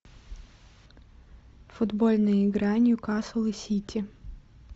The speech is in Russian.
футбольная игра ньюкасл и сити